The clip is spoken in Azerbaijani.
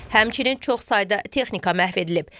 Həmçinin çoxsayda texnika məhv edilib.